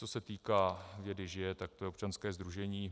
Co se týká Vědy žije!, tak to je občanské sdružení.